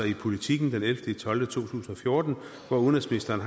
i politiken den elleve tolv 2014 har udenrigsministeren